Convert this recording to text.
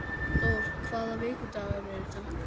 Dór, hvaða vikudagur er í dag?